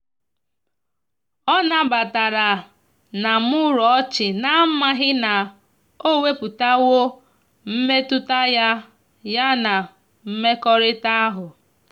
ọ na batara na muru ochina amaghi na o weputawo mmetụta ya ya na mmekorita ahu.